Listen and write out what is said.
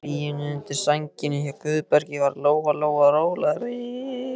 Í hlýjunni undir sænginni hjá Guðbergi varð Lóa Lóa rólegri.